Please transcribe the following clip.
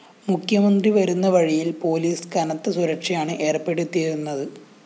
മുഖ്യമന്ത്രി വരുന്ന വഴിയില്‍ പോലീസ് കനത്ത സുരക്ഷയാണ് ഏര്‍പ്പെടുത്തിയിരുന്നത്